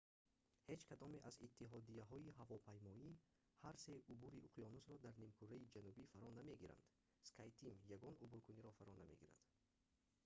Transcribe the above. ҳеҷ кадоме аз иттиҳодияҳои ҳавопаймоӣ ҳар се убури уқёнусро дар нимкураи ҷанубӣ фаро намегиранд skyteam ягон убуркуниро фаро намегирад